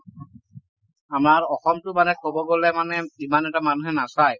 আমাৰ অসম টো মানে কব গলে মানে ইমান এটা মানুহে নাচাই ।